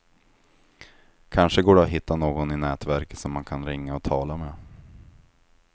Kanske går det att hitta någon i nätverket som man kan ringa och tala med.